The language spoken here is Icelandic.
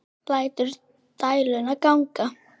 Lætur dæluna ganga.